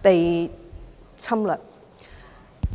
被侵略。